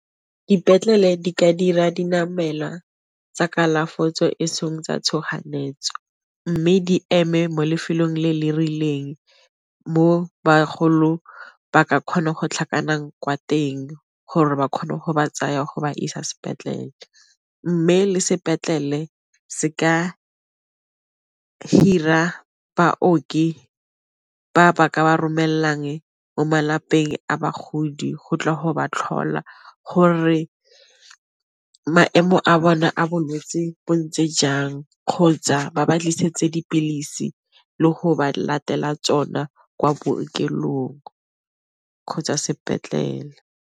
Dipetlele di ka dira dinamelwa tsa kalafo e seng tsa tshoganyetso, mme di eme mo lefelong le le rileng mo bagolong ba ka kgona go tlhakantsha kwa teng gore ba kgone go ba tsaya go ba isa sepetlele, mme le sepetlele se ka hira baoki ba ba ka ba romelang mo malapeng a bagodi go tla go ba tlhola gore maemo a bona a bolwetse bo ntse jang kgotsa ba ba tlisetse dipilisi le go ba latela tsona kwa bookelong kgotsa sepetlela.